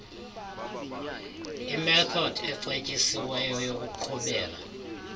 imethodi ecetyisiweyo yokuqhubela